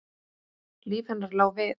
Líf hennar lá við.